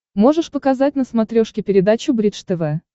можешь показать на смотрешке передачу бридж тв